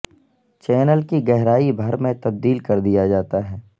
channel کی گہرائی بھر میں تبدیل کر دیا جاتا ہے